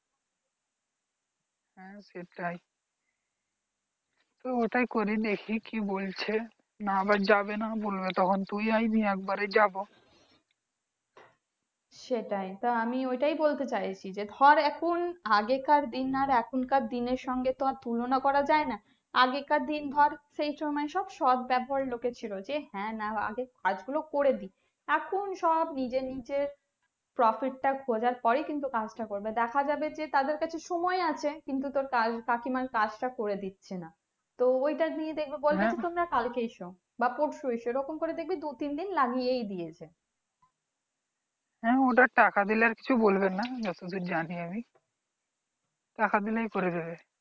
হ্যাঁ ওটা টাকা দিলে আর কিছু বলবে না যত দূর জানি আমি টাকা দিলেই করে দেবে